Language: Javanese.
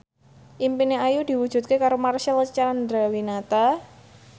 impine Ayu diwujudke karo Marcel Chandrawinata